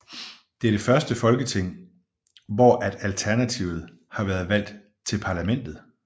Det er det første folketing hvor at Alternativet har været valgt til parlamentet